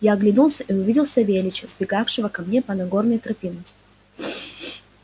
я оглянулся и увидел савельича сбегающего ко мне по нагорной тропинке